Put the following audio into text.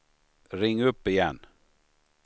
ring upp igen